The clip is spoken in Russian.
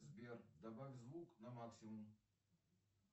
сбер добавь звук на максимум